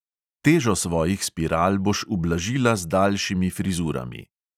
Težo svojih spiral boš ublažila z daljšimi frizurami.